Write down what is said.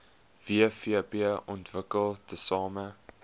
wvp ontwikkel tesame